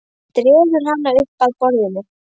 Hann dregur hana upp að borðinu.